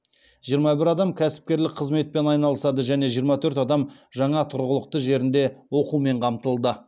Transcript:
жиырма бір адам кәсіпкерлік қызметпен айналысады және жиырма төрт адам жаңа тұрғылықты жерінде оқумен қамтылды